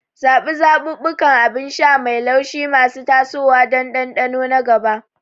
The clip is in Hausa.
Zaɓi zaɓuɓɓukan abin sha mai laushi masu tasowa don dandano na gaba.